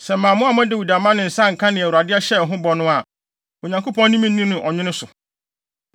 Sɛ mammoa Dawid amma ne nsa anka nea Awurade hyɛɛ ho bɔ no a, Onyankopɔn ne me nni no ɔnwene so.